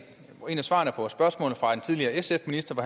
tidligere sf minister på